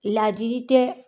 Ladili tɛ